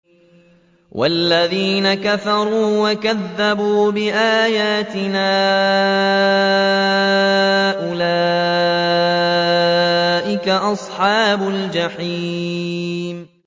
وَالَّذِينَ كَفَرُوا وَكَذَّبُوا بِآيَاتِنَا أُولَٰئِكَ أَصْحَابُ الْجَحِيمِ